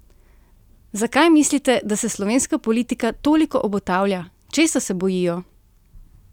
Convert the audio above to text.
Zakaj mislite, da se slovenska politika toliko obotavlja, česa se bojijo?